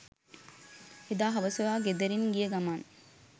එදා හවස ඔයා ගෙදරින් ගිය ගමන්